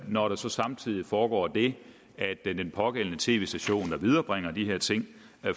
når der så samtidig foregår det at den pågældende tv station der viderebringer de her ting